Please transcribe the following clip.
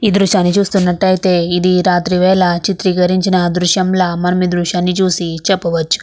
ఈ దృశ్యాన్ని చూసినట్టు అయితే రాత్రి వేళల చిత్రీకరించిన దృశ్యంలా ఈ దృశ్యం చూసి చెప్పాచు.